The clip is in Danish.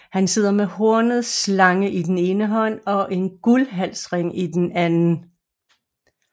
Han sidder med en hornet slange i den ene hånd og en guldhalsring i den anden